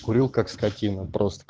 курил как скотина просто